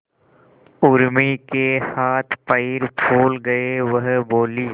उर्मी के हाथ पैर फूल गए वह बोली